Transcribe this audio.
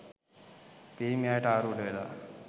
පිරිමි අයට ආරූඪ වෙලා